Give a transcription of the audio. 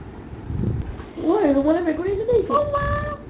ঐ আই room লৈ মেকুৰি আহিছে দেই